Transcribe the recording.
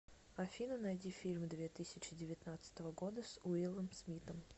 афина найди фильм две тысячи девятнадцатого года с уиллом смитом